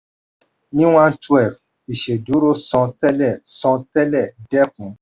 ni one twelve ìṣèdúró san tẹlẹ san tẹlẹ dẹ́kun.